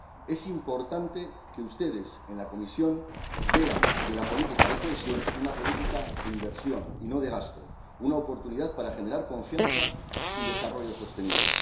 Es importante que ustedes, en la Comisión, vean en la política de cohesión una política de inversión y no de gasto, una oportunidad para generar confianza y desarrollo sostenible.